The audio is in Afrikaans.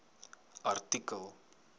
artikel